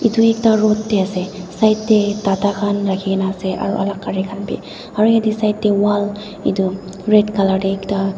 etu ekta road te ase side te tata khan rakhi kena ase aru alak gari khan bi aru yate side walk red colour te ekta.